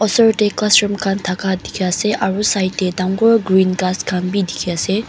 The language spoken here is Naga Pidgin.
osor dae classroom khan taka diki asae aro side dae dangor green khass khan bi diki asae.